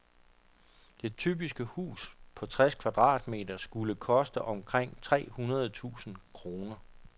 Det typiske hus på tres kvadratmetet skulle koste omkring tre hundrede tusind kroner.